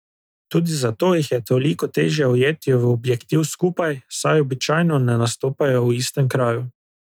Tudi zato jih je toliko težje ujeti v objektiv skupaj, saj običajno ne nastopajo v istem kraju.